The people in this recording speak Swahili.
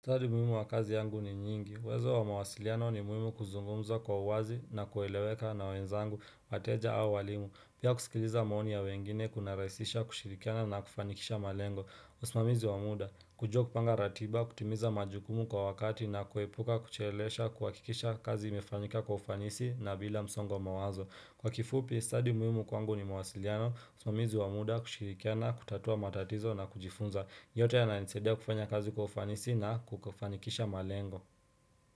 Study muhimu wa kazi yangu ni nyingi. Uwezo wa mawasiliano ni muhimu kuzungumza kwa uwazi na kueleweka na wenzangu, wateja au walimu. Pia kusikiliza maoni ya wengine kunaraisisha, kushirikiana na kufanikisha malengo. Usimamizi wa muda, kujua kupanga ratiba, kutimiza majukumu kwa wakati na kuepuka, kuchelewesha, kuhakikisha kazi imefanyika kwa ufanisi na bila msongo wa mawazo. Kwa kifupi, study muhimu kwangu ni mawasiliano, usimamizi wa muda, kushirikiana kutatua matatizo na kujifunza. Yote yananisaidia kufanya kazi kwa ufanisi na kukufanikisha malengo.